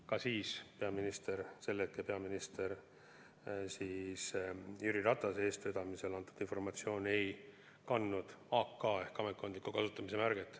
Ka siis ei kandnud peaministri – sel hetkel oli peaminister Jüri Ratas – eestvedamisel antud informatsioon AK ehk ametkondliku kasutamise märget.